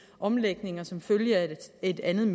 omlægninger som følger af et andet